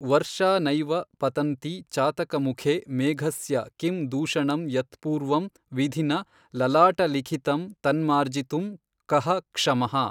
ವರ್ಷಾ ನೈವ ಪತನ್ತಿ ಚಾತಕಮುಖೇ ಮೇಘಸ್ಯ ಕಿಂ ದೂಷಣಂಯತ್ಪೂರ್ವಂ ವಿಧಿನಾ ಲಲಾಟಲಿಖಿತಂ ತನ್ಮಾರ್ಜಿತುಂ ಕಃ ಕ್ಷಮಃ।